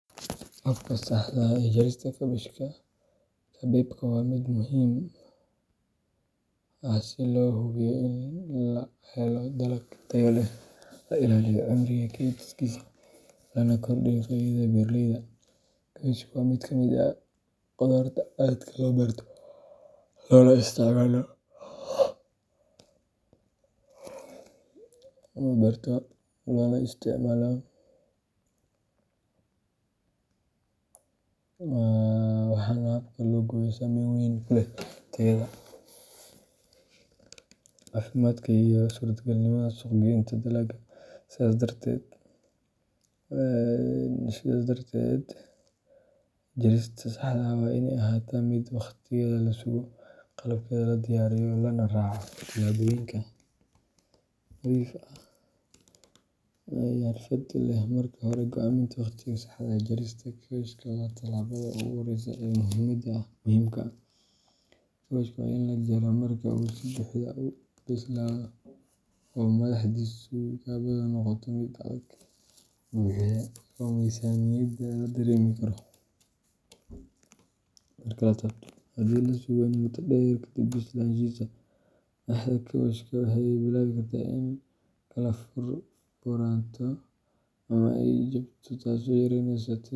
Habka saxda ah ee jarista kaabashka kabeebka waa mid muhiim ah si loo hubiyo in la helo dalag tayo leh, la ilaaliyo cimriga kaydkiisa, lana kordhiyo faa’iidada beeraleyda. Kaabashka waa mid ka mid ah qudaarta aadka loo beerto loona isticmaalo, waxaana habka loo gooyo saameyn weyn ku leh tayada, caafimaadka, iyo suurtagalnimada suuq-geynta dalagga. Sidaas darteed, jarista saxda ah waa inay ahaataa mid waqtigeeda la sugo, qalabkeeda la diyaariyo, lana raaco tallaabooyin nadiif iyo xirfad leh. Marka hore, go'aaminta waqtiga saxda ah ee jarista kaabashka waa tallaabada ugu horreysa ee muhiimka ah. Kaabashka waa in la jaraa marka uu si buuxda u bislaado oo madaxdiisu kubbaddu noqoto mid adag, buuxda, oo miisaankeeda la dareemi karo marka la taabto. Haddii la sugo in muddo dheer kadib bislaanshihiisa, madaxda kaabashka waxay bilaabi kartaa inay kala furfuranto ama ay jabto, taasoo yareyneysa tayada.